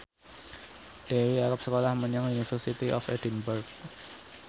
Dewi arep sekolah menyang University of Edinburgh